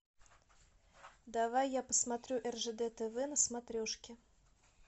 давай я посмотрю ржд тв на смотрешке